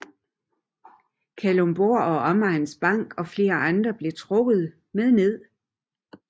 Kalundborg og Omegns Bank og flere andre blev trukket med ned